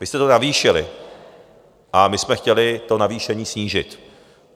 Vy jste to navýšili a my jsme chtěli to navýšení snížit.